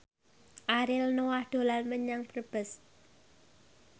Ariel Noah dolan menyang Brebes